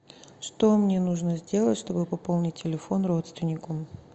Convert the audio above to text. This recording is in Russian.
что мне нужно сделать чтобы пополнить телефон родственнику